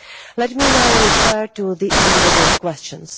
Let me now refer to the individual questions.